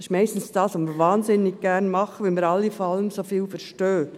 Das ist meistens das, was wir wahnsinnig gerne tun, weil wir alle von allem so viel verstehen.